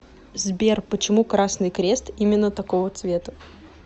сбер почему красный крест именно такого цвета